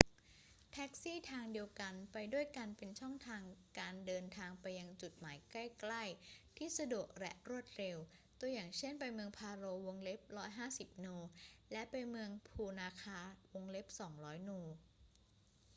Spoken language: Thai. แท็กซี่ทางเดียวกันไปด้วยกันเป็นช่องทางการเดินทางไปยังจุดหมายใกล้ ๆ ที่สะดวกและรวดเร็ว ตัวอย่างเช่น ไป​เมืองพาโร 150 นู และ ไปเมืองพูนาคา 200 นู